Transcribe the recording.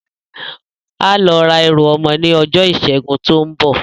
Á lọ ra ẹrù ọmọ ní ọjọ́ ìsẹ́gun tí ó ń bọ̀